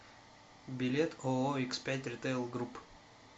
билет ооо икс пять ритейл групп